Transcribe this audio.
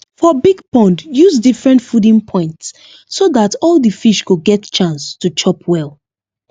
for big pond use different fooding points so that all the fish go get chance to chop well